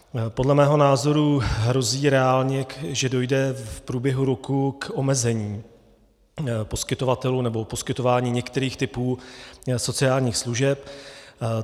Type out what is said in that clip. Podle mého názoru hrozí reálně, že dojde v průběhu roku k omezení poskytovatelů nebo poskytování některých typů sociálních služeb.